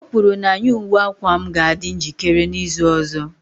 O kwuru na ny uwe akwa m ga-adị njikere n'izu ọzọ